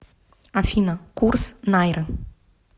афина курс найры